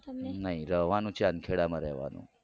તમને નઈ રેવાનું છે ચાંદખેડામાં રેવાનું.